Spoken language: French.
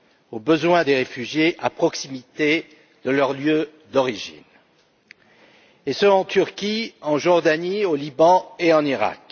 aux besoins des réfugiés à proximité de leur lieu d'origine, et ce en Turquie, en Jordanie, au Liban et en Iraq.